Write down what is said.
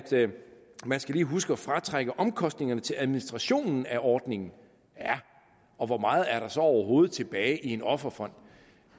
man lige skal huske at fratrække omkostningerne til administrationen af ordningen ja og hvor meget er der så overhovedet tilbage i en offerfond